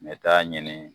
N bɛ taa ɲini